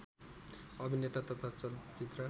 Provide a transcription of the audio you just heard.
अभिनेता तथा चलचित्र